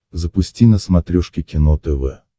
запусти на смотрешке кино тв